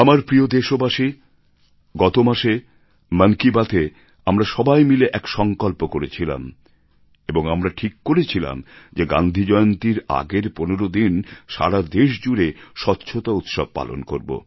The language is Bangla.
আমার প্রিয় দেশবাসী গতমাসে মন কি বাত এ আমরা সবাই মিলে এক সংকল্প করেছিলাম এবং আমরা ঠিক করেছিলাম যে গান্ধী জয়ন্তীর আগের ১৫ দিন সারা দেশ জুড়ে স্বচ্ছতা উৎসব পালন করব